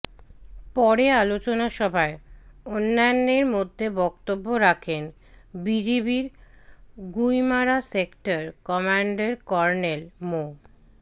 পরে আলোচনা সভায় অন্যান্যের মধ্যে বক্তব্য রাখেন বিজিবির গুইমারা সেক্টর কমান্ডার কর্নেল মো